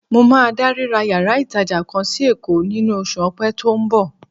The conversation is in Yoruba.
Mo máa da ríra yàrá ìtàjà kan sí Èkó nínú oṣù Ọpẹ́ tí ó ń bọ̀.